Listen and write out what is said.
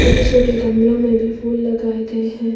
छोटे छोटे गमलों मे भी फूल लगाए गए हैं।